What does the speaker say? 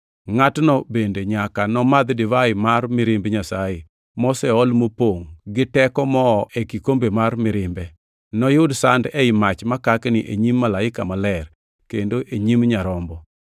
ngʼatno, bende, nyaka nomadh divai mar mirimb Nyasaye, moseol mopongʼ giteko moo ei kikombe mar mirimbe. Noyud sand ei mach makakni e nyim malaika maler, kendo e nyim Nyarombo.